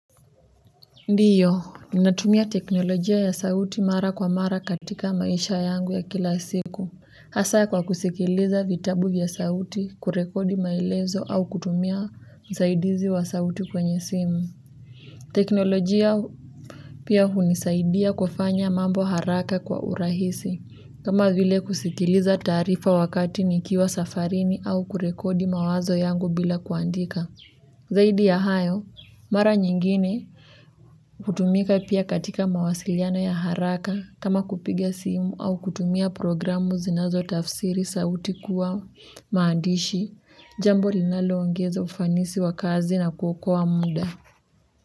Ndiyo, ninatumia teknolojia ya sauti mara kwa mara katika maisha yangu ya kila siku. Hasa kwa kusikiliza vitabu vya sauti kurekodi maelezo au kutumia msaidizi wa sauti kwenye simu. Teknolojia pia hunisaidia kufanya mambo haraka kwa urahisi. Kama vile kusikiliza taarifa wakati nikiwa safarini au kurekodi mawazo yangu bila kuandika. Zaidi ya hayo, mara nyingine hutumika pia katika mawasiliano ya haraka kama kupiga simu au kutumia programu zinazotafsiri sauti kuwa maandishi jambo linaloongeza ufanisi wa kazi na kuokoa muda.